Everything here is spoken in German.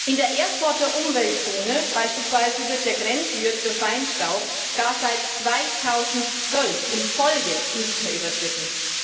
In der Erfurter Umweltzone beispielsweise wird der Grenzwert für Feinstaub gar seit 2012 in Folge nicht mehr überschritten.